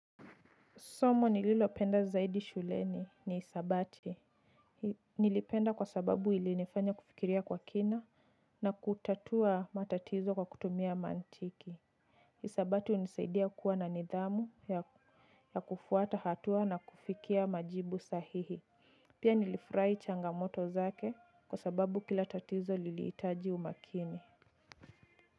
Somo nililopenda zaidi shuleni ni hisabati. Nilipenda kwa sababu ilinifanya kufikiria kwa kina na kutatua matatizo kwa kutumia mantiki. Hisabati hunisaidia kuwa na nidhamu ya kufuata hatua na kufikia majibu sahihi. Pia nilifurahi changamoto zake kwa sababu kila tatizo lilitaji umakini.